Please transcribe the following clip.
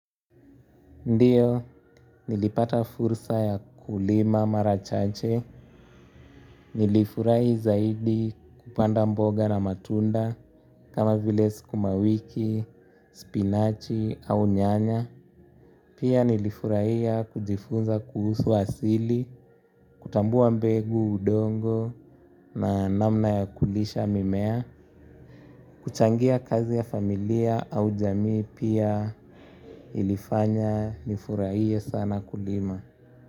Ndiyo, nilipata fursa ya kulima mara chache, nilifurahi zaidi kupanda mboga na matunda kama vile sukuma wiki, spinachi au nyanya. Pia nilifurahia kujifunza kuhusu asili, kutambua mbegu udongo na namna ya kulisha mimea, kuchangia kazi ya familia au jamii pia ilifanya nifurahie sana kulima.